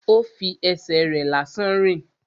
Ó fi ẹsẹ̀ rẹ̀ lásán rìn